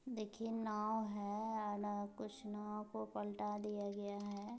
देखिये नाव है। आना कुछ नाव को पल्टा दी दिया गया है।